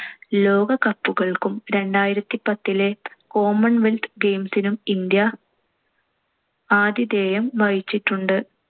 ലോക cup കൾക്കും രണ്ടായിരത്തിപത്തിലെ commonwealth games നും ഇന്ത്യ ആതിഥേയം വഹിച്ചിട്ടുണ്ട്.